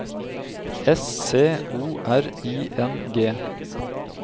S C O R I N G